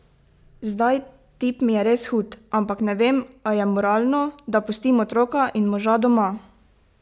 Zdaj, tip mi je res hud, ampak ne vem, a je moralno, da pustim otroka in moža doma?